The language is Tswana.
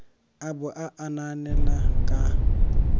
a bo a anaanela ka